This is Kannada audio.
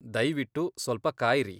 ದಯ್ವಿಟ್ಟು ಸ್ವಲ್ಪ ಕಾಯ್ರಿ.